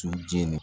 Su jeni